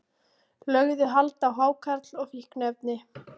Lögðu hald á hákarl og fíkniefni